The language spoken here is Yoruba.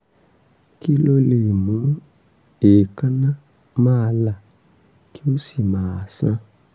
kí ló lè mú kí èékánná máa là kí ó sì máa sán?